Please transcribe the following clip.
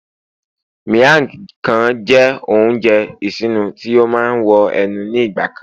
miang Khan jé ounjẹ isinu tí o ma wo ẹnu ni igba kan